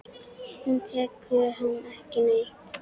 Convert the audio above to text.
Hún þekkir hann ekki neitt.